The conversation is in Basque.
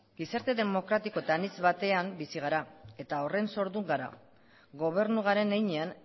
gizarte demokratiko eta anitz batean bizi gara eta horren sordun gara gobernu garen heinean